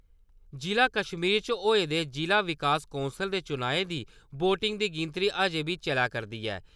जिला कश्मीर च होए दे जिला विकास कौंसल दे चुनाएं दी वोटें दी गिनतरी अज्जें बी चलै करदी ऐ।